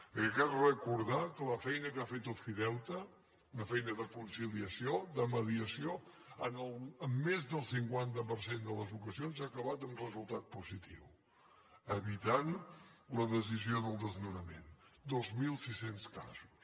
perquè crec recordar que la feina que ha fet ofideute una feina de conciliació de mediació en més del cinquanta per cent de les ocasions ha acabat amb resultat positiu evitant la decisió del desnonament dos mil sis cents casos